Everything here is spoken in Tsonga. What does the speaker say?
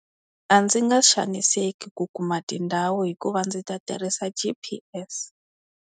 A ndzi nga xaniseki ku kuma tindhawu hikuva ndzi ta tirhisa G_P_S.